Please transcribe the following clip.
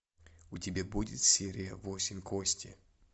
у тебя будет серия восемь кости